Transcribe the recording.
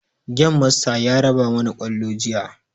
Gemasta ya raba mana kwallo juya